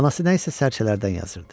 Anası nəyisə sərçələrdən yazırdı.